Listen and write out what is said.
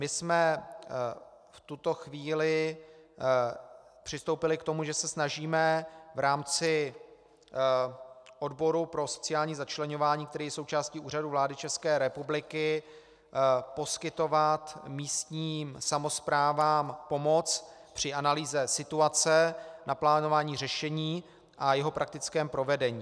My jsme v tuto chvíli přistoupili k tomu, že se snažíme v rámci odboru pro sociální začleňování, který je součástí Úřadu vlády České republiky, poskytovat místním samosprávám pomoc při analýze situace na plánování řešení a jeho praktickém provedení.